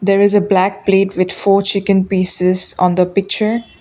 there is a black plate with four chicken pieces on the picture.